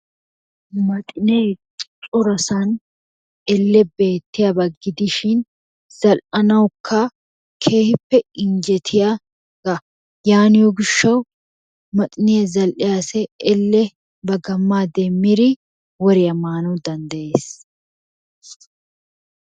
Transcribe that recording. Maxinee corasan elle beettiyaba gidishin zal'anawukka keehippe injjetiyaga yaaniyo gishawu, maxxiniya zal'iya asay elle ba gamaa demmidi woriya maanawu danddayees.